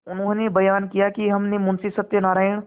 उन्होंने बयान किया कि हमने मुंशी सत्यनारायण